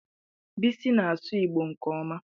Bisi na-asụ Igbo nke ọma.